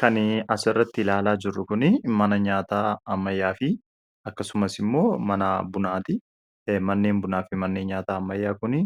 kan as irratti ilaalaa jirru kun mana nyaataa ammayaa fi akkasumas immoo manabunaati. manneen bunaa fi manneen nyaataa ammayyaa kuni